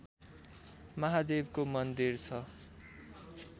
महादेवको मन्दिर छ